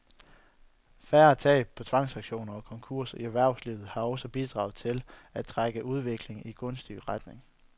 Færre tab på tvangsauktioner og konkurser i erhvervslivet har også bidraget til at trække udviklingen i en gunstig retning.